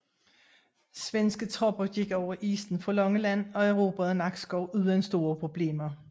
Svenske tropper gik over isen fra Langeland og erobrede Nakskov uden store problemer